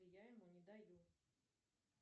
я ему не даю